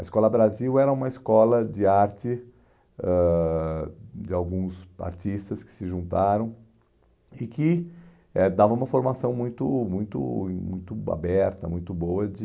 A Escola Brasil era uma escola de arte ãh de alguns artistas que se juntaram e que eh dava uma formação muito muito muito aberta, muito boa de